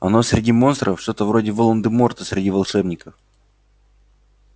оно среди монстров что-то вроде волан-де-морта среди волшебников